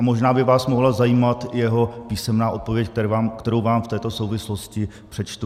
A možná by vás mohla zajímat jeho písemná odpověď, kterou vám v této souvislosti přečtu: